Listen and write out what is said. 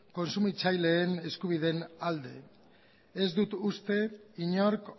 kontsumitzaileen eskubideenalde ez dut uste inork